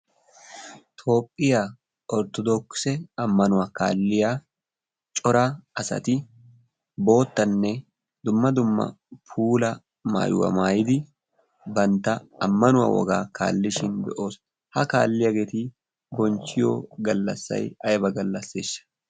toophphiyaa orttodokise ammanuwaa kaalliya cora asati boottanne dumma dumma pula maayuwaa maayidi bantta ammanuwaa wogaa kaallishin be'oos. ha kaalliyaageeti gonchchiyo gallassay ayba gallasseeshsha?